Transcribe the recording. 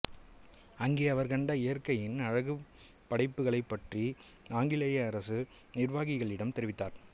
அங்கே அவர் கண்ட இயற்கையின் அழகுப் படைப்புகளைப் பற்றி ஆங்கிலேய அரசு நிர்வாகிகளிடம் தெரிவித்தார்